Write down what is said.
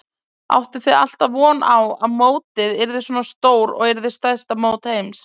Áttuð þið alltaf von á að mótið yrði svona stór og yrði stærsta mót heims?